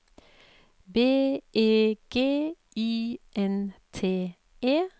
B E G Y N T E